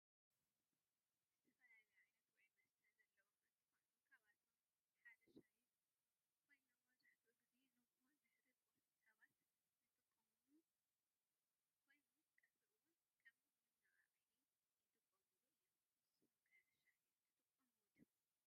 ዝተፈላለዩ ዓይነተ ውዒ መስተ ዘለዎ እንትኮኑ ካብአቶም ሓደ ሻሂ ኮይኑ መብዛሕቲኡ ግዚ ንጉሆ ድሕሪ ቁርሲ ሰባት ዝጥቀሙ ኮይኑ ቀተሪ እውን ከም መነቃቂሕ ይጥቀሙሉ እዩም። ንስኩም ከ ሻሂ ትጥቀሙ ዲኩም?